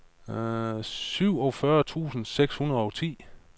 syvogfyrre tusind seks hundrede og ti